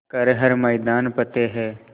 कर हर मैदान फ़तेह